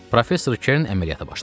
Professor Kern əməliyyata başladı.